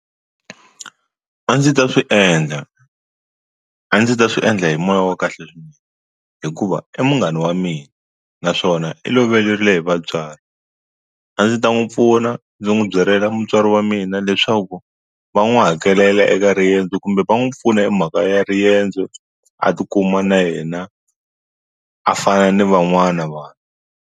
A ndzi ta swi endla a ndzi ta swi endla hi moya wa kahle swinene hikuva i munghana wa mina naswona i loverile hi vatswari a ndzi ta n'wu pfuna ndzi n'wu byelela mutswari wa mina leswaku va n'wi hakelela eka riyendzo kumbe va n'wu pfuna hi mhaka ya riyendzo a tikuma na yena a fana ni van'wana vanhu.